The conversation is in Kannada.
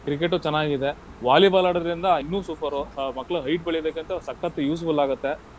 Cricket ಚೆನ್ನಾಗಿದೆ. Volleyball ಆಡುದ್ರಿಂದ ಇನ್ನೂ super ಆಹ್ ಮಕ್ಳು height ಬೆಳಿಬೇಕಂತಂದ್ರೆ ಸಕ್ಕತ್ useful ಆಗತ್ತೆ.